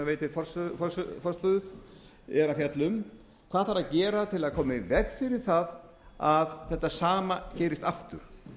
veitir forstöðu er að fjalla um hvað þarf að gera til að koma í veg fyrir að þetta sama gerist aftur